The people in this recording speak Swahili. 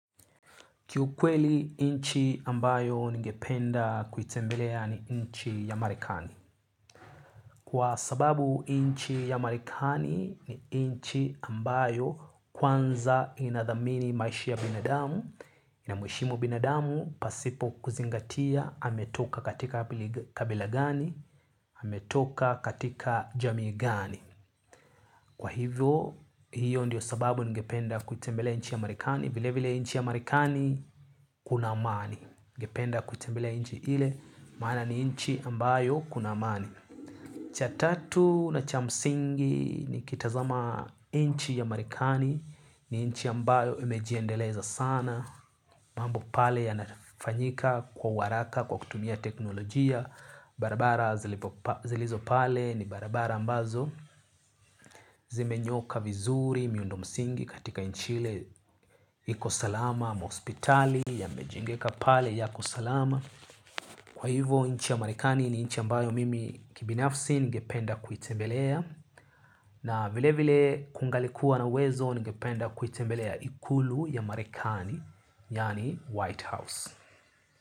Ki ukweli nchi ambayo nigependa kuitembelea ni nchi ya marikani. Kwa sababu nchi ya marikani ni nchi ambayo kwanza inadhamini maishi ya binadamu. Inamheshimu binadamu pasipo kuzingatia ametoka katika kabila gani, ametoka katika jamii gani. Kwa hivyo hiyo ndiyo sababu ningependa kutembelea nchi ya marikani. Vile vile nchi ya marikani kuna amani ningependa kutembelea nchi ile maana ni nchi ambayo kuna amani. Cha tatu na cha msingi nikitazama nchi ya marikani. Ni nchi ambayo imejiendeleza sana. Mambo pale yanafanyika kwa haraka kwa kutumia teknolojia. Barabara zilizo pale ni barabara ambazo zimenyoka vizuri miundo msingi katika nchi ile. Iko salama maospitali yamejengeka pale ya kusalama. Kwa hivo nchi ya marekani ni nchi ambayo mimi kibinafsi ningependa kuitembelea. Na vile vile kungalikuwa na uwezo ningependa kuitembelea ikulu ya marekani. Yaani White House.